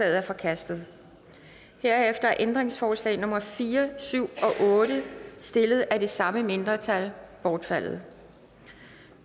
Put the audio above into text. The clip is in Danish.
er forkastet herefter er ændringsforslag nummer fire syv og otte stillet af det samme mindretal bortfaldet